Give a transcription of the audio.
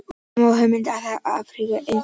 Þó má fá hugmynd um það af ágripi efnisyfirlits.